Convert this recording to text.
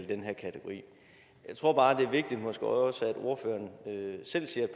den her kategori jeg tror bare det er vigtigt at måske også ordføreren selv siger